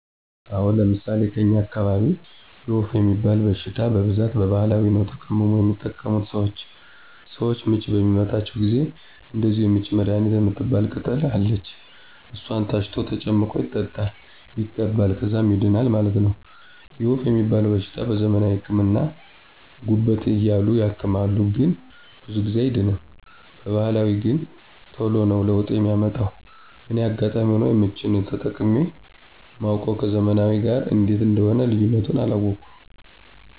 አወ፤ ለምሣሌ ከኛ አካባቢ የወፍ ሚባል በሽታ በብዛት በባህላዊ ነዉ ተቀምሞ የሚጠቀሙት ሰወች። ሰወች ምች በሚመታቸው ጊዜም እንደዚሁ የምች መድሀኒት ምትባል ቅጠል አለች እሷን ታሽቶ ተጨምቆ ይጠጣል ይቀባል ከዛም ይድናል ማለት ነው። የወፍ ሚባለዉ በሽታ በዘመናዊ ህክምና ጉበት እያሉ ያክማሉ ግን ብዙ ጊዜ አይድንም በባህላዊ ገን ተሎ ነው ለውጥ ሚያመጣ እኔ አጋጣሚ ሁኖ የምች ነው ተጠቅሜ ማውቅ ከዘመናዊው ጋር እንዴት እንደሆነ ልዩነቱን አላወኩም።